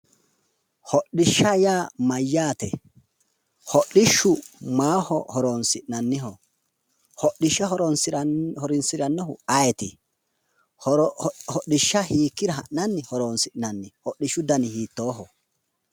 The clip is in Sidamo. Hodhishsha yaa mayyaate? hodhishshu maaho horonsi'nanniho? hodhishsha horonsirannohu ayeeti? hodhishsha hiikkira ha'nanni horonsi'nanni hodhishshu dani hiittooho?